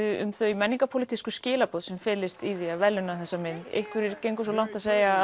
um þau menningarpólitísku skilaboð sem felist í því að verðlauna þessa mynd einhverjir gengu svo langt að segja